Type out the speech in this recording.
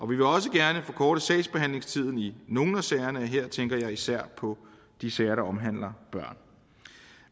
vil også gerne forkorte sagsbehandlingstiden i nogle af sagerne her tænker jeg især på de sager der omhandler børn